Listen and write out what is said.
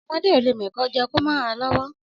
Ọmọdẹ ọlẹ mẹkọ jẹ kò mà rà lówò